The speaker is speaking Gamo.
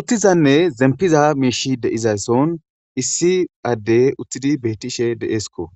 Uttizanne zempiza miishi deizason issi adde uttidi betishe de7eesko